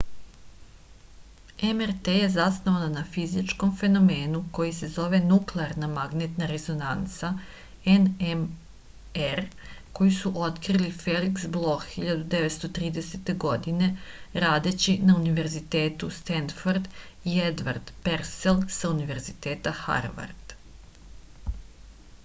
mrt је заснована на физичком феномену који се зове нуклеарна магнетна резонанца nmr коју су открили феликс блох 1930. године радећи на универитету стенфорд и едвард персел са универзитета харвард